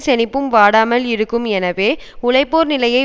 செழிப்பும் வாடாமல் இருக்கும் எனவே உழைப்போர் நிலையை